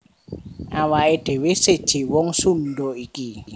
Awaké dhéwé séjé wong Sundha iki